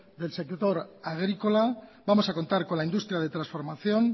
del sector agrícola vamos a contar con la industria de transformación